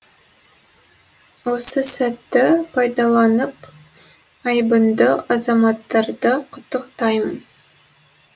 осы сәтті пайдаланып айбынды азаматтарды құттықтаймын